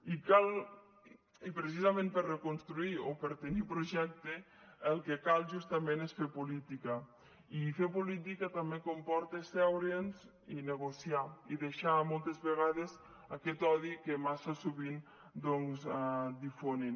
i precisament per reconstruir i per tenir projecte el que cal justament és fer política i fer política també comporta asseure’ns i negociar i deixar moltes vegades aquest odi que massa sovint difonen